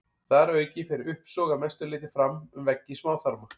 Þar að auki fer uppsog að mestu leyti fram um veggi smáþarma.